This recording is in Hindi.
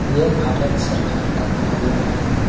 ये भारत सरकार का कार्यालय है।